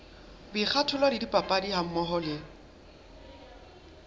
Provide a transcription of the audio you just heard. boikgathollo le dipapadi hammoho le